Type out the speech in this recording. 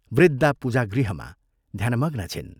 वृद्धा पूजागृहमा ध्यानमग्ना छिन्।